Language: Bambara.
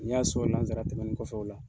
N y'a sɔrɔ lansara tɛmɛnen kɔfɛ o la.